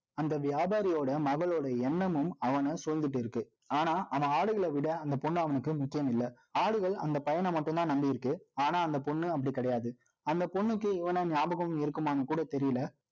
அந்த வியாபாரியோட, மகளோட எண்ணமும், அவனைச் சூழ்ந்துட்டு இருக்கு. ஆனா, அவன் ஆடுகளை விட, அந்த பொண்ணு, அவனுக்கு முக்கியமில்லை ஆடுகள், அந்த பையனை மட்டும்தான், நம்பி இருக்கு. ஆனா, அந்த பொண்ணு, அப்படி கிடையாது. அந்த பொண்ணுக்கு, இவனை, ஞாபகம் இருக்குமான்னு கூட தெரியலே